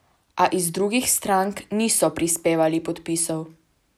A iz drugih strank niso prispevali podpisov.